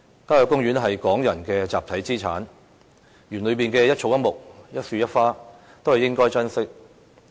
郊野公園是港人的集體資產，裏面的一草一木、一樹一花都應該珍惜。